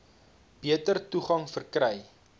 beter toegang verkry